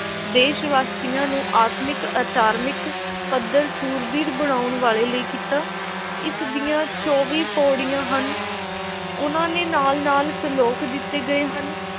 ਦੇਸ਼ – ਵਾਸੀਆਂ ਨੂੰ ਆਤਮਿਕ ਆਚਰਨਿਕ ਪੱਧਰ ਸੂਰਬੀਰ ਬਣਾਉਣ ਵਾਲੇ ਲਈ ਕੀਤਾ। ਇਸ ਦੀਆਂ ਚੌਵੀਂ ਪਉੜੀਆਂ ਹਨ। ਉਨ੍ਹਾਂ ਦੇ ਨਾਲ–ਨਾਲ ਸਲੋਕ ਦਿੱਤੇ ਗਏ ਹਨ ।